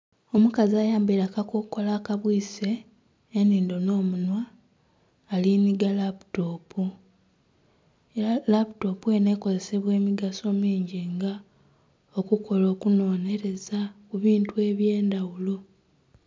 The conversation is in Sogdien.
Omukazi ayambaire akakokolo akabwise enindo n'omunhwa aliniga laputopu era laputopu eno ekozesebwa emigaso mingi nga okukola okunonereza mubintu ebyendhaghulo.